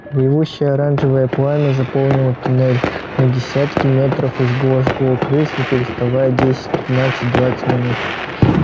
ревущее оранжевое пламя заполнило туннель на десятки метров и жгло-жгло крыс не переставая десять пятнадцать двадцать минут